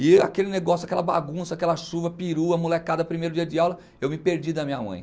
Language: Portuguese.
E aquele negócio, aquela bagunça, aquela chuva, perua, molecada, primeiro dia de aula, eu me perdi da minha mãe.